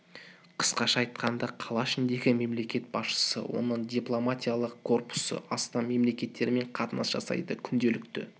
қысқаша айтқанда қала ішіндегі мемлекет басшысы оның дипломатиялық корпусы астам мемлекеттермен қатынас жасайды күнделікті